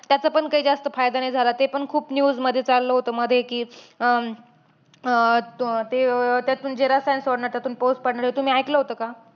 त्याचा पण काही जास्त फायदा नाही झाला. ते पण खूप news मध्ये चाललं होतं मध्ये कि अं अं तो ते अं त्यातून जे रसायन सोडणार, त्यातून पाऊस पडणार. हे तुम्ही ऐकलं होतं का?